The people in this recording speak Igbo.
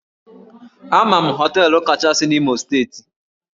Ama m hóteélụ̀ kachasị na Imo steeti